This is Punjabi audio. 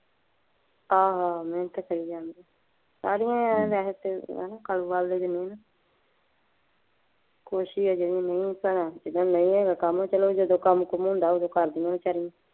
ਹਾਂ ਹਾਂ ਮੇਹਨਤ ਤਾਂ ਕਰੀ ਜਾਂਦੇ। ਕੁਛ ਹੀ ਹੈ ਜਿਦਣ ਨਹੀਂ ਹੇਗਾ ਕੰਮ। ਜਦੋ ਕੰਮ ਕੁਮ ਹੁੰਦਾ ਓਦੋ ਕਰਦਿਆਂ ਵਿਚਾਰਿਆਂ।